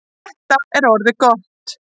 Þetta er orðið gott.